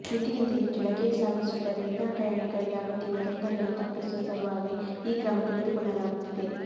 ಮಿತಿಗಿಂತ ಹೆಚ್ಚು ಲಗೇಜು ಸಾಗಿಸುವುದರಿಂದ ಇತರ ಪ್ರಯಾಣಿಕರಿಗೆ ಆಗುತ್ತಿರುವ ತೊಂದರೆಯನ್ನು ತಪ್ಪಿಸುವ ಸಲುವಾಗಿ ಈ ಕ್ರಮ ತೆಗೆದುಕೊಳ್ಳಲಾಗುತ್ತಿದೆ